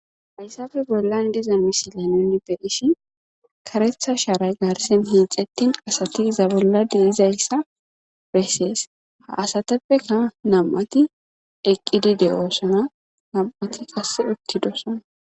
fayssafe bollan diza misila nunni be ishi karetha sharay gaarsen hiixettin asati iza bolladi izayssa bessees ha asateppeka nam7ati eqqidi de7oosana nam7ati qasse ottidosana